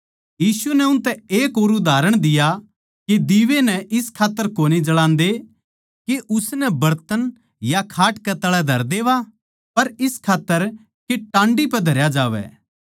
यीशु नै उनतै एक और उदाहरण दिया के दीवै नै इस खात्तर कोनी जळान्दे के उसनै बरतन या खाट कै तळै धर देवां पर इस खात्तर के टांडी पै धरया जावै